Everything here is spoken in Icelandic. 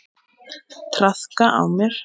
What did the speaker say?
Traðka á mér!